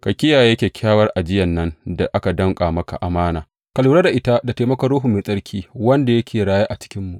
Ka kiyaye kyakkyawar ajiyan nan da aka danƙa maka amana, ka lura da ita da taimakon Ruhu Mai Tsarki wanda yake raye a cikinmu.